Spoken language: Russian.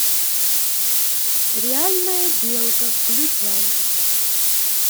реальная белка включай